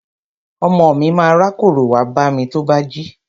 Ọmọ mi ma rákórò wá bámi tó bá jí.